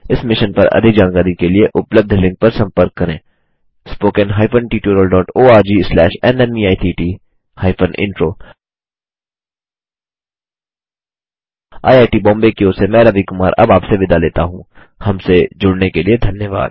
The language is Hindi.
इस मिशन पर अधिक जानकारी के लिए उपलब्ध लिंक पर संपर्क करें spoken hyphen tutorial dot ORG slash NMEICT hyphen intro IIT Bombay की ओर से मैं रवि कुमार अब आपसे विदा लेता हूँहमसे जुड़ने के लिए धन्यवाद